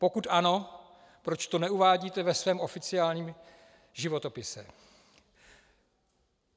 Pokud ano, proč to neuvádíte ve svém oficiálním životopise.